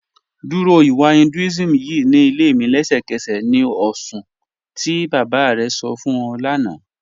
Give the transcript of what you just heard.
Dúró ìwà Hinduism ýìí ni ilẹ̀ mi lẹ̀ṣẹkẹ̀sẹ̀ ni oṣùn ti baba rẹ sọ̀ fún ọ̀ lána